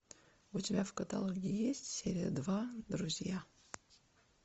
у тебя в каталоге есть серия два друзья